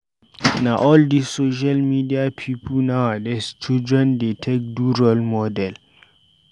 Na all dis social media pipu nowadays children dey take do role model.